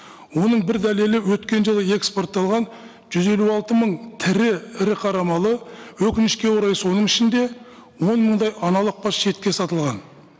оның бір дәлелі өткен жылы экспортталған жүз елу алты мың тірі ірі қара малы өкінішке орай соның ішінде он мыңдай аналық бас шетке сатылған